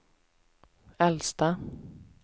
äldsta